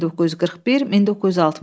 1941-1960.